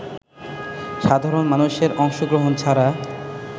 সাধারণ মানুষের অংশগ্রহণ ছাড়া